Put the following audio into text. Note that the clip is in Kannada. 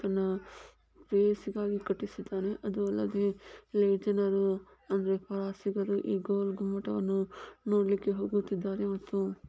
ಇದನ್ನ ಪ್ರೇಯಸಿಗಾಗಿ ಕಟ್ಟಿಸುತ್ತಿದ್ದಾರೆ ಅದಲ್ಲದೆ ಜನರು ಪ್ರವಾಸಿಗರು ಈಗ ಆ ಗೋಳಗುಮ್ಮಟ ವನ್ನು ನೋಡಕ್ಕೆ ಹೋಗುತ್ತಿದ್ದಾರೆ ಮತ್ತು--